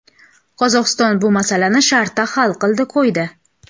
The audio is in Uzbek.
Qozog‘iston bu masalani shartta hal qildi, qo‘ydi.